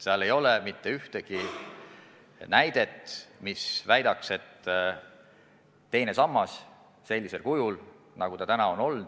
Seal ei ole mitte ühtegi näidet, mis tõestaks, et teine sammas on sellisel kujul, nagu ta on